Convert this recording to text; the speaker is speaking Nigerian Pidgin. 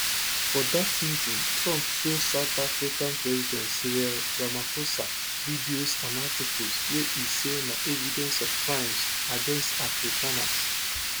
for dat meeting trump show south african president cyril ramaphosa videos and articles wey e say na evidence of crimes against afrikaners